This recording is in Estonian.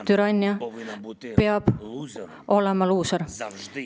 Türannia peab olema luuser.